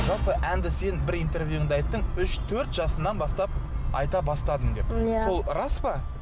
жалпы әнді сен бір интервьюыңда айттың үш төрт жасыңнан бастап айта бастадың деп иә сол рас па